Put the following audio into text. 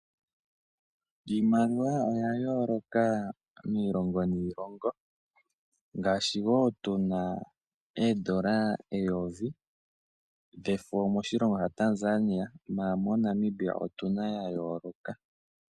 Iimaliwa oya yooloka miilongo niilongo. Ngaashi moTanzania omuna oondola eyovi dhefo ihe moNamibia otuna ya yooloka.